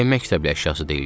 Niyə məktəbli əşyası deyil ki?